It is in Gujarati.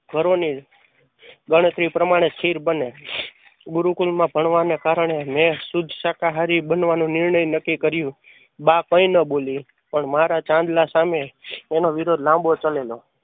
ઘરો ની ગણતરી પ્રમાણે ખીર બને. ગુરુકુળ માં ભણવાને કારણે મેં શુદ્ધ શાકાહારી બનવાનું નિર્ણય નક્કી કર્યો. બા કઈ ન બોલી પણ મારા ચાંદલા સામે એનો વિરોધ લાંબો ચાલેલો.